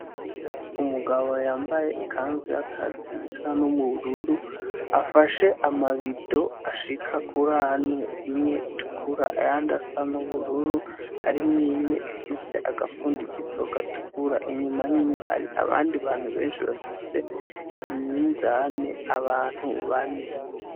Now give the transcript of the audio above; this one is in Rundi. Umugabo yambaye ikanzu y'akazi, isa n'ubururu afashe amabido ashika kurane ,imwe itukura ayandi asa n'ubururu. Harimwimwe ifise agafundikizo gatukura. Inyuma yiwe hari abandi bantu benshi bafise iminzane abantu bane.